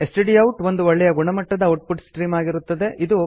ಸ್ಟ್ಡೌಟ್ ಒಂದು ಒಳ್ಳೆಯ ಗುಣಮಟ್ಟದ ಔಟ್ ಪುಟ್ ಸ್ಟ್ರೀಮ್ ಆಗಿರುತ್ತದೆ